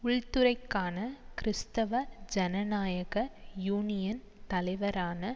உள் துறைக்கான கிறிஸ்தவ ஜனநாயக யூனியன் தலைவரான